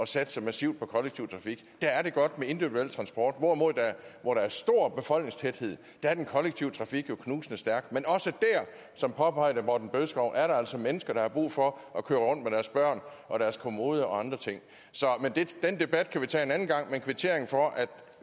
satse massivt på kollektiv trafik der er det godt med individuel transport hvorimod at hvor der er stor befolkningstæthed er den kollektive trafik jo knusende stærk men som påpeget af herre morten bødskov er der altså mennesker der har brug for at køre rundt med deres børn og deres kommode og andre ting den debat kan vi tage en anden gang men en kvittering for at